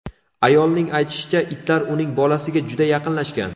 Ayolning aytishicha, itlar uning bolasiga juda yaqinlashgan.